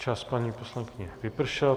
Čas, paní poslankyně, vypršel.